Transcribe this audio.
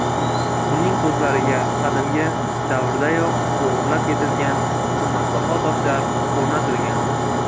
Uning ko‘zlariga qadimgi davrlardayoq o‘g‘irlab ketilgan qimmatbaho toshlar o‘rnatilgan.